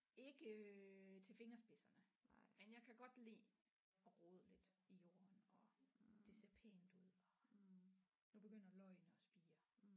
Ikke til fingerspidserne men jeg kan godt lide at rode lidt i jorden og det ser pænt ud og nu begynder løgene at spire